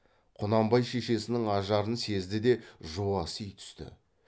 құнанбай шешесінің ажарын сезді де жуаси түсті